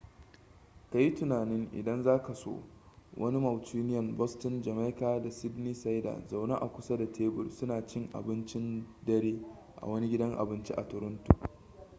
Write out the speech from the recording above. ka yi tunanin idan za ka so wani mancunian boston jamaica da sydneysider zaune a kusa da tebur suna cin abincin dare a wani gidan abinci a toronto